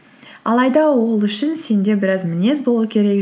алайда ол үшін сенде біраз мінез болу керек